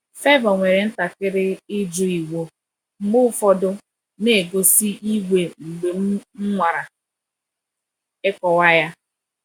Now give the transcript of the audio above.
Favour nwere ntakịrị ịjụ iwu, mgbe ụfọdụ na-egosi iwe mgbe m nwara ịkọwa ya.